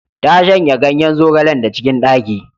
Ta shanya ganyen zogalen da cikin ɗaki.